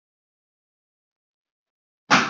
Býsna hart það bítur kinn.